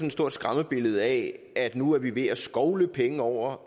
et stort skræmmebillede af at nu er vi ved at skovle penge over